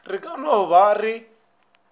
re ka no ba re